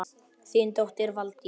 Þín dóttir, Valdís.